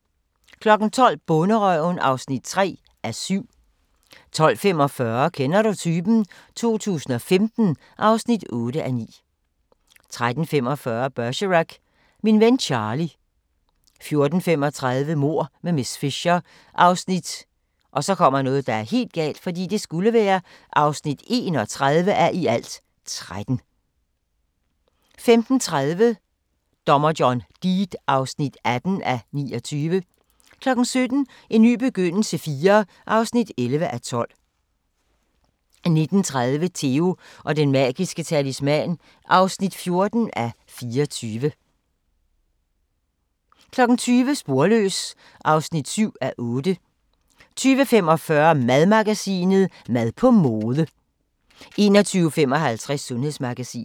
12:00: Bonderøven (3:7) 12:45: Kender du typen? 2015 (8:9) 13:45: Bergerac: Min ven Charlie 14:35: Mord med miss Fisher (31:13) 15:30: Dommer John Deed (18:29) 17:00: En ny begyndelse IV (11:12) 19:30: Theo & Den Magiske Talisman (4:24) 20:00: Sporløs (7:8) 20:45: Madmagasinet: Mad på mode 21:55: Sundhedsmagasinet